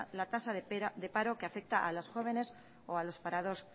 la tasa de paro que afecta a los jóvenes o a los parados